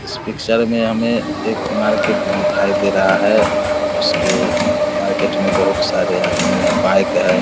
इस पिक्चर में हमे एक मार्केट दिखाई दे रहा है जिसके मार्केट में बहुत सारे आदमी है बाइक है ।